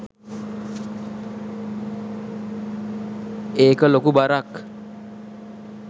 ඒක ලොකු බරක්